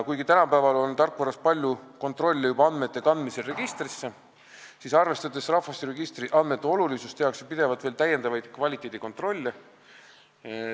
Kuigi tänapäeval on tarkvara abil palju kontrollivõimalusi juba andmete kandmisel registrisse, siis arvestades rahvastikuregistri andmete olulisust, tehakse pidevalt veel täiendavaid kvaliteedikontrolle.